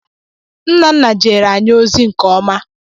Nnanna jeere anyị ozi nke ọma.